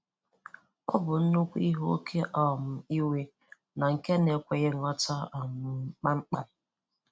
Ọ bụ nnukwu ihe oké um iwe na nke na-ekweghị nghọta um kpamkpam.